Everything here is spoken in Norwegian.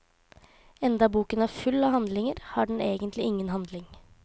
Enda boken er full av handlinger, har den egentlig ingen handling.